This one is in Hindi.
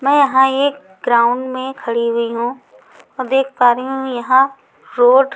मैं यहां एक ग्राउंड में खड़ी हुई हूं और देख पा रही हूं यहां रोड --